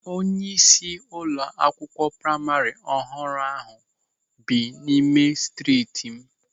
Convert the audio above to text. Onyeisi ụlọ akwụkwọ praima ọhụrụ ahụ bi n'ime striit m.